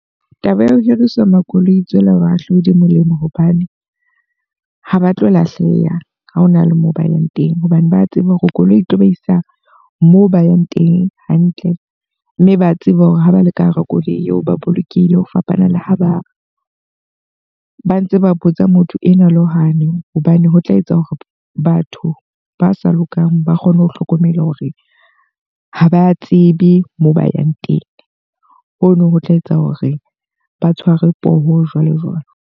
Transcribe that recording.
Taba ya ho hiriswa ha makoloi ho tswela bahahlaudi molemo hobane ha ba tlo lahleha ha hona le moo ba yang teng. Hobane ba tseba hore koloi e tlo ba isa moo ba yang teng hantle. Mme ba tseba hore ha ba le ka hara koloi eo ba bolokehile ho fapana le ho ba ntse ba botsa motho ena le hwane. Hobane ho tla etsa hore batho ba sa lokang ba kgone ho hlokomela hore ha ba tsebe moo ba yang teng. Hono ho tla etsa hore ba tshwarwe poho jwalo jwalo.